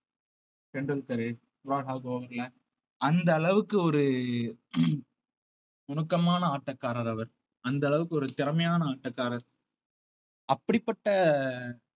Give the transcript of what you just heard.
Tendulkar Brad Hogg bowling ல அந்த அளவுக்கு ஒரு நுணுக்கமான ஆட்டக்காரர் அவர் அந்த அளவுக்கு ஒரு திறமையான ஆட்டக்காரர் அப்படிப்பட்ட